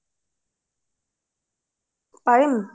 পাৰিম